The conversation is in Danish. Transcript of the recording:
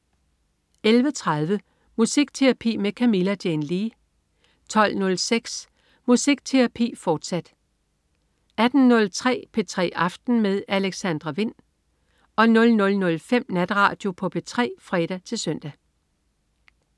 11.30 Musikterapi med Camilla Jane Lea 12.06 Musikterapi med Camilla Jane Lea, fortsat 18.03 P3 aften med Alexandra Wind 00.05 Natradio på P3 (fre-søn)